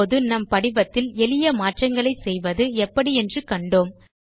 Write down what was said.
இப்போது நம் படிவத்தில் எளிய மாற்றங்களை செய்வது எப்படி என்று கண்டோம்